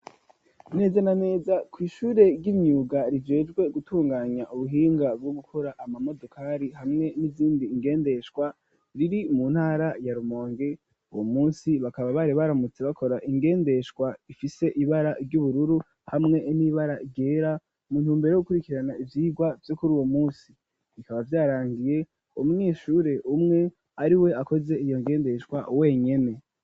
Neza na neza kw'ihure ry'imyuga rijejwe gutunganya ubuhinga bwo gukora ama modukari hamwe n'izindi ingendeshwa riri mu ntara ya Rumonge, uwo munsi bakaba bari baramutse bakora ingendeshwa ifise ibara ry'ubururu hamwe n'ibara ryera. Mu ntumbero yo gukurikirana ivyirwa vyo kuri uwo munsi. Bikaba vyarangiye umwishure umwe ari we akoze iyo ngendeshwa wenyene.